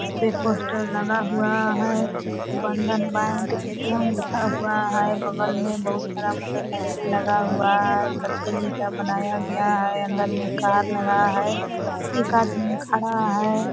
इसपे पोस्टर लगा हुआ है बंधन बैंक ए.टी.एम लिखा हुआ है। बगल मे बहुत सारा मोटर-साइकिल लगा हुआ है बनाया गया है अंदर मे कार लगा है। एक आदमी खड़ा है |